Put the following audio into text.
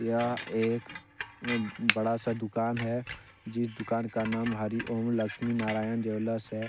यह एक बहुत बड़ा सा दुकान है जिस दुकान का नाम हरि ओम लक्ष्मी नारायण ज्वैलर्स है।